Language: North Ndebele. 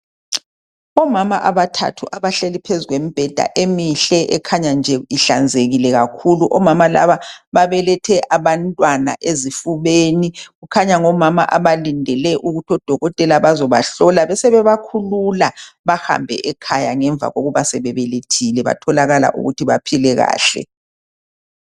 Omama abathathu abahleli phezu kwembheda emihle ekhanya nje ihlanzekile kakhulu .Omama laba babelethe abantwana ezifubeni .Kukhanya ngomama abalindele ukuthi odokotela bazobahlola besebe bakhulula bahambe ekhaya ngemva kokuba sebebelethile batholakala ukuthi baphile kahle .